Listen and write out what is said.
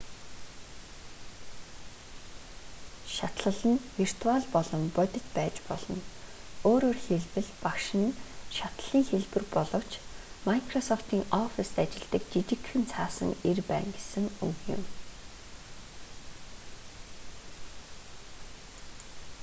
шатлал нь виртуал болон бодит байж болно өөрөөр хэлбэл багш нь шатлалын хэлбэр боловч майкрософтын оффистт ажилладаг жижигхэн цаасан эр байна гэсэн үг юм